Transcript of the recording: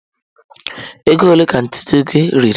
Ego ole ka ntutu gị riri?